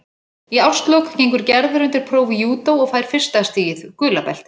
Í árslok gengur Gerður undir próf í júdó og fær fyrsta stigið, gula beltið.